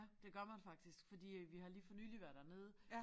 Det gør man faktisk fordi at vi har lige for nyligt været dernede